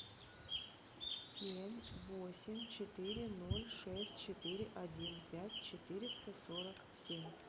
семь восемь четыре ноль шесть четыре один пять четыреста сорок семь